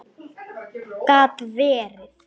Gat verið!